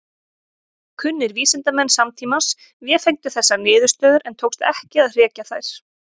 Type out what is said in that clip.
Kunnir vísindamenn samtímans vefengdu þessar niðurstöður en tókst ekki að hrekja þær.